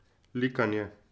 Likanje.